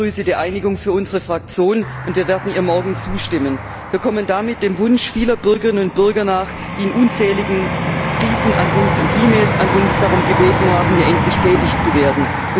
Auch ich begrüße die Einigung für unsere Fraktion, und wir werden ihr morgen zustimmen. Wir kommen damit dem Wunsch vieler Bürgerinnen und Bürger nach, die in unzähligen Briefen und E Mails an uns darum gebeten haben, hier endlich tätig zu werden.